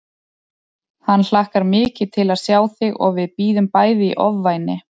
Hann hlakkar mikið til að sjá þig og við bíðum bæði í ofvæni